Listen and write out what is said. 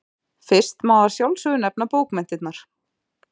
Fyrst má að sjálfsögðu nefna bókmenntirnar.